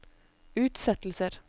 utsettelser